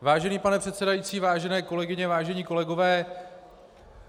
Vážený pane předsedající, vážené kolegyně, vážení kolegové.